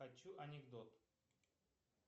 хочу анекдот